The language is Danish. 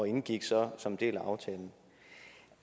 indgik så som en del af aftalen